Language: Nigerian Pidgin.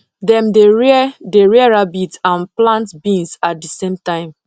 dem dey rear dey rear rabbit and plant beans at the same time